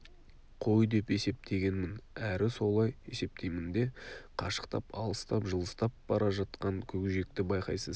қой деп есептегенмін әрі солай есептеймін де қашықтап алыстап жылыстап бара жатқан көкжиекті байқайсыз